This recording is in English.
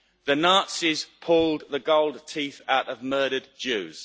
The Nazis pulled the gold teeth out of murdered Jews.